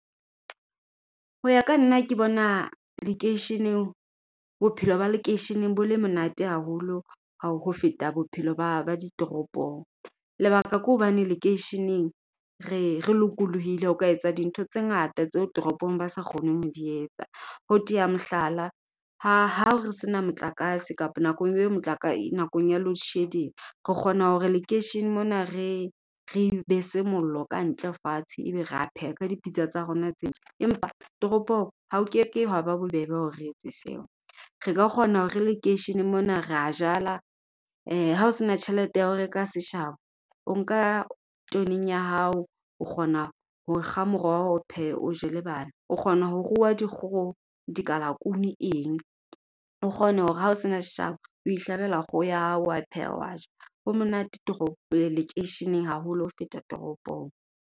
Ho ya ka nna ke bona lekeisheneng, bophelo ba lekeisheneng bo le monate haholo ho feta bophelo ba ba ditoropong. Lebaka ke hobane lekeisheneng, re re lokolohile ho ka etsa dintho tse ngata tseo toropong ba sa kgoneng ho di etsa. Ho teya mohlala, ha ho se na motlakase kapa nakong e motlakase nakong ya load shedding. Re kgona hore lekeishene mona re, re be se mollo ka hantle fatshe. E be ra peha ka dipitsa tsa rona tse ntsho. Empa toropong, ha o ke ke wa ba bobebe ho re etse seo. Re ka kgona ho re lekeisheneng mona ra jala, hao sena tjhelete ya hao reka seshabo, o nka tweneng ya hao. O kgona ho kga moroho o pheye o je le bana. O kgona ho ruwa dikgoho, dikalakunu eng. O kgone hore hao sena seshabo, o ihlabela kgoho ya hao wa pheya wa ja. Ho monate toropo lekeisheneng haholo, ho feta toropong.